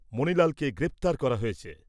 মনিলালকে গ্রেপ্তার করা হয়েছে।